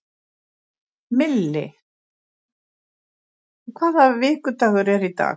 Milli, hvaða vikudagur er í dag?